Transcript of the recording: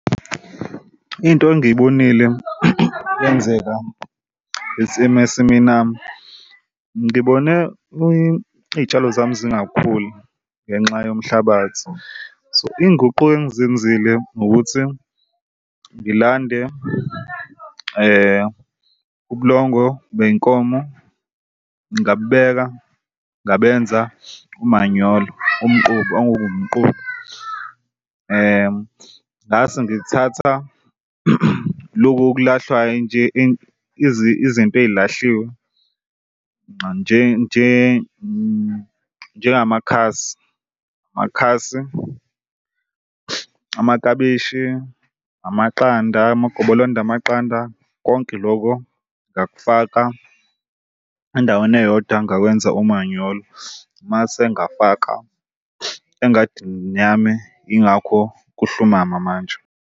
Into engiyibonile yenzeka ngisemasimini ami ngibone iy'tshalo zami zingakhuli ngenxa yomhlabathi, so inguquko engizenzile ukuthi ngilande ubulongo bey'nkomo ngabubeka ngabenza umanyolo umquba umquba. Ngase ngithatha loku okulahlwa nje izinto ayilahlile njengamakhasi, amaklabishi, amaqanda, amagobolonda amaqanda. Konke lokho ngakufaka endaweni eyodwa ngakwenza umanyolo. Mase ngafaka engadini yami yingakho kuhlumama manje.